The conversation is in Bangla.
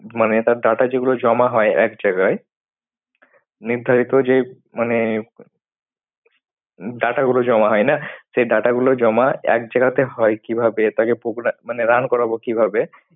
মানে তার data যেগুলো জমা হয় এক জায়গায়, নির্ধারিত যে মানে data গুলো জমা হয় না। সেই data গুলো জমা এক জায়গাতে হয় কিভাবে তাকে progra মানে run করাবো কিভাবে